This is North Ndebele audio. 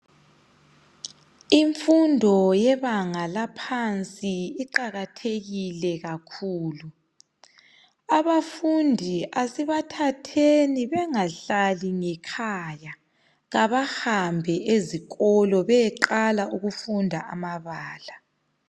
Imfundo yebanga laphansi iqakathekile kakhulu abafundi asibathatheni bengahlali ngekhaya kabahambe ezikolo beyeqala ukufunda amabala